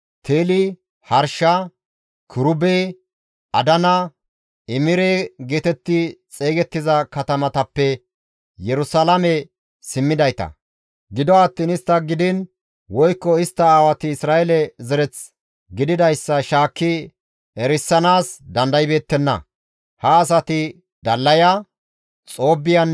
Habayey, Haqoxeynne Barziley qeeseta zereththata; gido attiin kase istta aawati oona gididaakkonne istti erontta aggida gishshas qeeseteththa ooso ooththontta mala digettida.